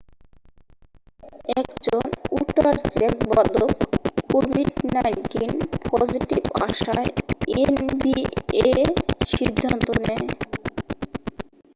একজন উটার জ্যাজ বাদক covid-19 পজিটিভ আসায় nba সিদ্ধান্ত নেয়